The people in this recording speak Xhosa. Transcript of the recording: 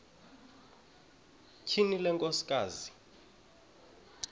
tyhini le nkosikazi